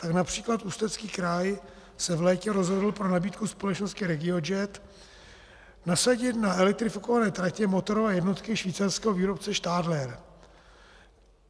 Tak například Ústecký kraj se v létě rozhodl pro nabídku společnosti RegioJet nasadit na elektrifikované tratě motorové jednotky švýcarského výrobce Stadler.